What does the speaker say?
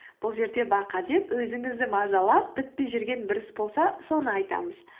бұл жерде бақа деп өзіңізді мазалап бітпей жүрген бір іс болса соны айтамыз